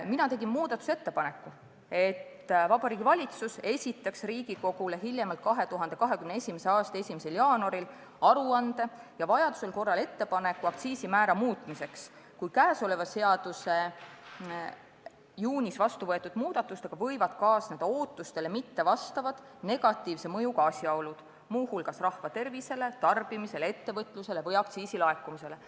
Mina tegin muudatusettepaneku sätestada, et Vabariigi Valitsus esitaks Riigikogule hiljemalt 2021. aasta 1. jaanuaril aruande ja vajaduse korral ettepaneku aktsiisimäära muutmiseks, kui selle seaduse juunis vastuvõetud muudatustega kaasneb ootustele mittevastav, negatiivne mõju, muu hulgas rahva tervisele, tarbimisele, ettevõtlusele või aktsiisi laekumisele.